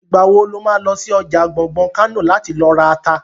Ìgbà wo lo má lọ sí ọjà àrin gbùngbùn Kánò láti lọ ra ata?